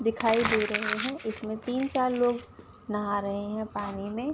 दिखाई दे रहें हैं इसमें तीन-चार लोग नहा रहें हैं। पानी में ।